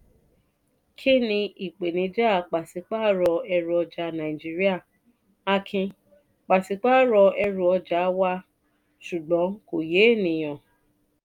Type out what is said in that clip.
kín-ni ìpèníjà pàṣípààrọ̀ ẹrù ọjà nàìjíría? akin: pàṣípààrọ̀ ẹrù ọjà wá ṣùgbọ́n kò yé ènìyàn.